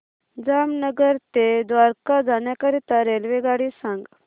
जामनगर ते द्वारका जाण्याकरीता रेल्वेगाडी सांग